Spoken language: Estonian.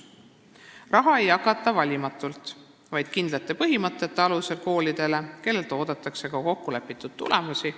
Raha ei jagata valimatult, vaid kindlate põhimõtete alusel koolidele, kellelt oodatakse ka kokkulepitud tulemusi.